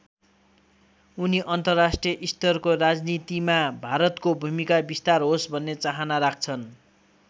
उनी अन्तर्राष्ट्रिय स्तरको राजनीतिमा भारतको भूमिका विस्तार होस् भन्ने चाहना राख्छन्।